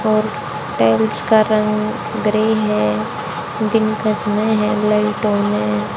और टाइल्स का रंग ग्रे है दिन का समय है लाइट ऑन है।